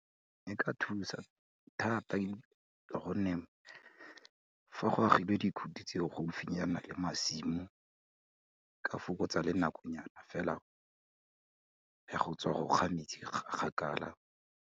E ka thusa thata, ka gonne fa go agilwe dikhuti tse o gaufinyana le masimo, ka fokotsa le nakonyana fela, ya go tswa go ga metsi kgakala.